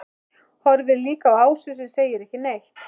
Horfir líka á Ásu sem segir ekki neitt.